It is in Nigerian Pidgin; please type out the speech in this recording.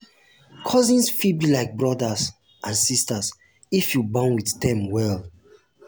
cousins fit be like brothers and sisters if you bond with dem well.